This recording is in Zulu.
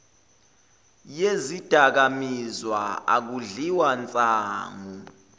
yezidakamizwa akudliwa nsangu